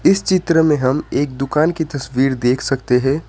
इस चित्र में हम एक दुकान की तस्वीर देख सकते हैं।